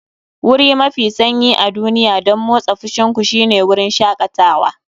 Wuri mafi sanyi a duniya don motsa fushin ku shine wurin shakatawa.